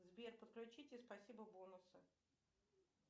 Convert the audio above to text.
сбер подключите спасибо бонусы